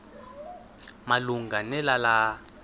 malunga ne lala